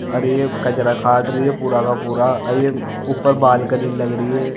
अरे ये कचरा काड़ रही है पूरा की पूरा अरे ये ऊपर बालकनी लग रही है।